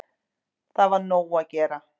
Það var nóg að gera